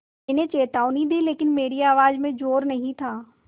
मैंने चेतावनी दी लेकिन मेरी आवाज़ में ज़ोर नहीं था